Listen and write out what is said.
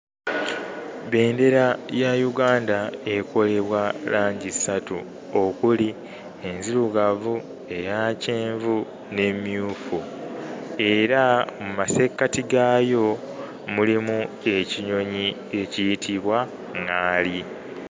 Bbendera ya Uganda ekolebwa langi ssatu okuli enzirugavu, eya kyenvu n'emmyufu era mu masekkati gaayo mulimu ekinyonyi ekiyitibwa ŋŋaali.